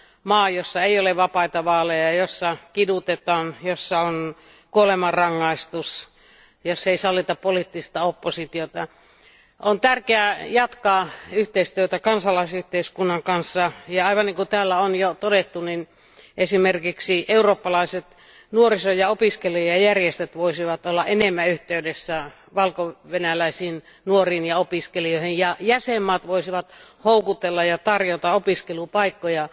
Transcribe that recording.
maa, jossa ei ole vapaita vaaleja ja jossa kidutetaan, jossa on kuolemanrangaistus ja jossa ei sallita poliittista oppositiota. On tärkeää jatkaa yhteistyötä kansalaisyhteiskunnan kanssa ja aivan niin kuin täällä on jo todettu niin esimerkiksi eurooppalaiset nuoriso ja opiskelijajärjestöt voisivat olla enemmän yhteydessä valkovenäläisiin nuoriin ja opiskelijoihin ja jäsenmaat voisivat houkutella ja tarjota opiskelupaikkoja